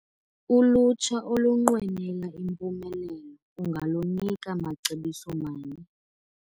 Ulutsha olunqwenela impumelelo ungalunika macebiso mani?